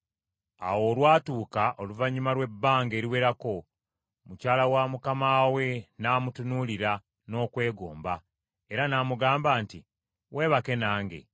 Awo olwatuuka oluvannyuma lw’ebbanga eriwerako, mukyala wa mukama we namutunuulira n’okwegomba era n’amugamba nti, “Weebake nange.”